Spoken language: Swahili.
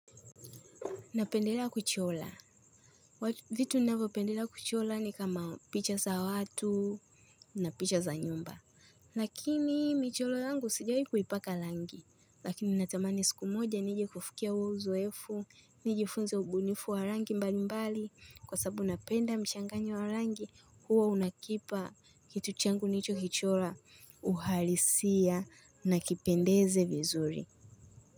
Napendelea kuchola. Vitu ninayvo pendelea kuchola ni kama; picha za watu, na picha za nyumba. Lakini micholo yangu sijawahi kuipaka langi. Lakini natamani siku moja nije kufikia huo uzoefu, nijifunze ubunifu wa rangi mbali mbali. Kwa sababu napenda mchanganyo wa rangi. Hua unakipa kitu changu nilicho kichola uhalisia na kipendeze vizuri.